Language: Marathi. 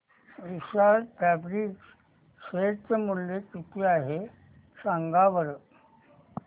विशाल फॅब्रिक्स शेअर चे मूल्य किती आहे सांगा बरं